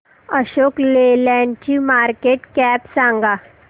Ashok Leyland ची market cap सांगा